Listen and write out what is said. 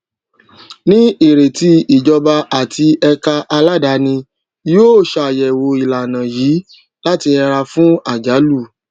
ní ìrètí ìjọba àti ẹka aládàáni yóò ṣàyẹwò ìlànà yìí láti yẹra fún àjálù